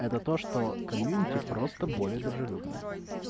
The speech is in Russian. это то что комьюнити просто более дружелюбная